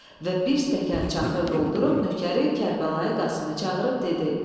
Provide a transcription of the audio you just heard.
Və bir stəkan çaxır doldurub nökəri Kərbəlayi Qasımı çağırıb dedi: